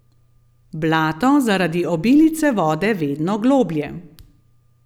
Blato zaradi obilice vode vedno globlje.